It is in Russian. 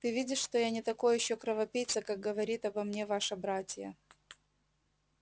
ты видишь что я не такой ещё кровопийца как говорит обо мне ваша братья